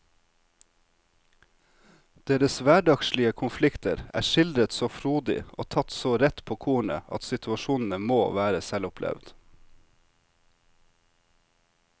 Deres hverdagslige konflikter er skildret så frodig og tatt så rett på kornet at situasjonene må være selvopplevd.